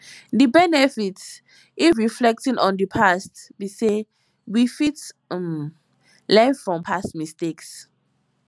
di benefit if reflecting on di past be sey we fit um learn from past mistakes